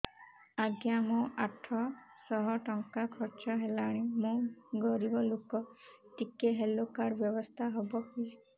ଆଜ୍ଞା ମୋ ଆଠ ସହ ଟଙ୍କା ଖର୍ଚ୍ଚ ହେଲାଣି ମୁଁ ଗରିବ ଲୁକ ଟିକେ ହେଲ୍ଥ କାର୍ଡ ବ୍ୟବସ୍ଥା ହବ କି